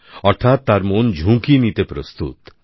অর্থাৎ তার মন ঝুঁকি নিতে প্রস্তুত